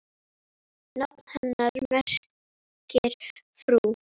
Nafn hennar merkir frú.